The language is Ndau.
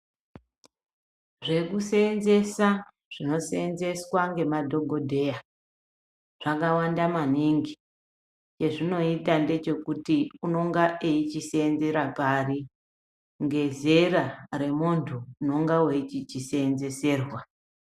Zvekuseenzesa zvinoseenzeswa ngemadhogodheya, zvakawanda maningi. Chezvinoita ngechekuti unonga eichiseenzera pari ,ngezera remuntu unonga weichichiseenzeserwa.